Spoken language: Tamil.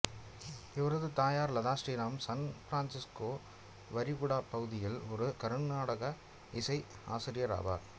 இவரது தாயார் லதா ஸ்ரீராம் சான் பிரான்சிஸ்கோ விரிகுடாப் பகுதியில் ஒரு கருநாடக இசை ஆசிரியர் ஆவார்